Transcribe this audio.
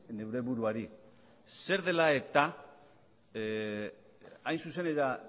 neure buruari zer dela eta